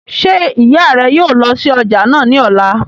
Ṣé ìyá rẹ yóò lọ sí ọjà náà ní ọ̀la?